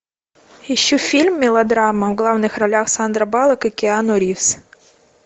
ищу фильм мелодрама в главных ролях сандра баллок и киану ривз